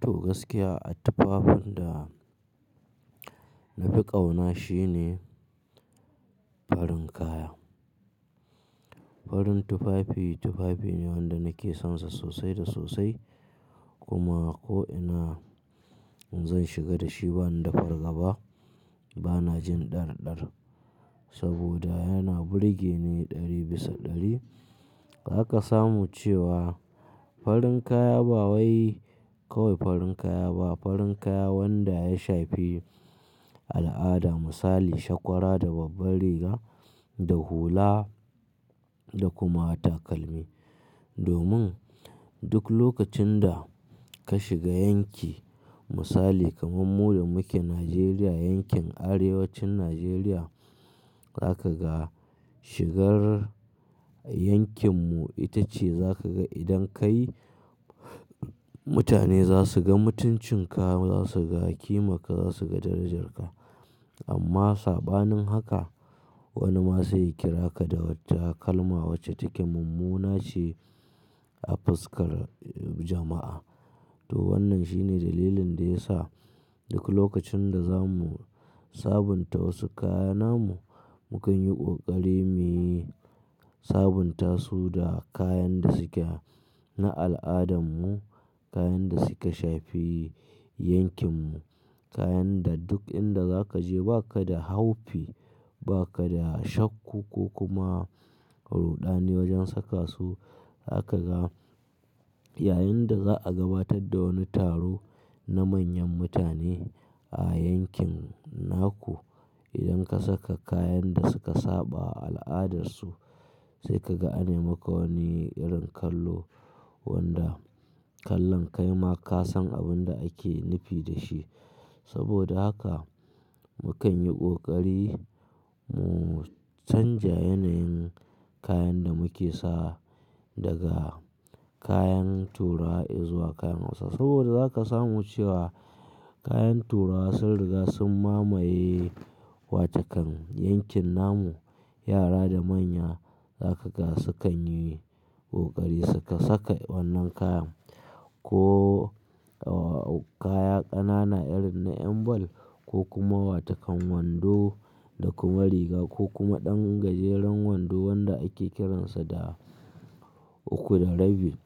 To, gaskiya a tufafin da na fi ƙauna shine farin kaya. Farin tufafi, tufafi ne wanda nake sonsa sosai da sosai kuma ko ina zan shiga da shi bana da fargaba. Bana jin ɗar-ɗar saboda yana burge ni ɗari bisa ɗari. Za ka samu cewa farin kaya ba wai kawai farin kaya ba, farin kaya wanda ya shafi al'ada, misali shakwara da babbar riga da hula da kuma takalmi. Domin duk lokacin da ka shiga yanki misali kamar mu da muke Najeriya, yankin Arewacin Najeriya, za ka ga shigar yankin mu ita ce za ka ga idan ka yi, mutane za su ga mutuncin ka, za su ga kimar ka, za su ga darajar ka. Amma saɓanin haka wani ma sai ya kira ka da wata kalma wacce take mummuna ce a fuskar jama'a. To wannan shine dalilin da ya sa duk lokacin da za mu sabunta wasu kaya namu, mu kan yi ƙoƙari mu yi sabunta su da kayan da suke na al'adarmu, kayan da suka shafi yankin mu, kayan da duk inda za ka je ba ka da haufi, ba ka da shakku ko kuma ruɗani wajen saka su. Za ka ga yayinda za a gabatar da wani taro na manyan mutane a yankin naku. Idan ka saka kayan da suka saɓa a al'adarsu sai ka ga anai maka wani irin kallo wanda kallon kai ma ka san abin da ake nufi da shi. Saboda haka mu kan yi ƙoƙari mu canja yanayin kayan da muke sa daga kayan Turawa izuwa kayan hausawa. Saboda za ka samu cewa kayan turawa sun riga sun mamaye wa takan yankin namu. Yara da manya za ka ga sukan yi ƙoƙari su saka wannan kaya ko kaya ƙanana irin na ƴan ball ko kuma wa takan wando da kuma riga ko kuma ɗan gajeren wando wanda ake kiransa da uku da rabi